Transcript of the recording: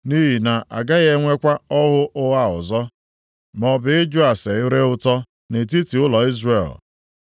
Nʼihi na agaghị enwekwa ọhụ ụgha ọzọ, maọbụ ịjụ ase ire ụtọ nʼetiti ụlọ Izrel.